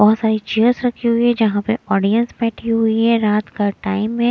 बहुत सारी चेयर्स रखी हुई है जहां पर ऑडियंस बैठी हुई है रात का टाइम हैं।